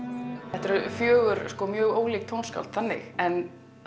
þetta eru fjögur mjög ólík tónskáld þannig en